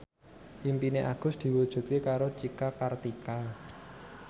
impine Agus diwujudke karo Cika Kartika